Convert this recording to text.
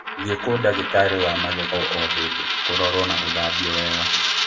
Thiĩ ku ndagĩtarĩ wa magego o hĩndĩ kũrorwo na gũthambio wega.